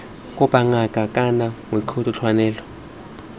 kopa ngaka kana mooki tlwaelo